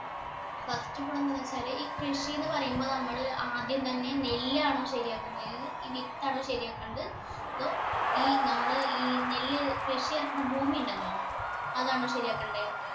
first ഇപ്പൊ എന്താ വെച്ചാല് ഈ കൃഷിന്ന് പറയുമ്പോ നമ്മൾ ആദ്യം തന്നെ നെല്ല് ആണോ ശരിയാക്കണ്ടായത് ഈ വിത്ത് ആണോ ശരിയാക്കണത് അതോ ഈ നമ്മൾ ഈ നെല്ല് കൃഷിയിറക്കുന്ന ഭൂമിയുണ്ടല്ലോ അതാണോ ശരിയാക്കണ്ടേ